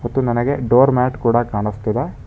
ತ್ತು ನನಗೆ door mat ಕೂಡ ಕಾಣಿಸ್ತಿದೆ.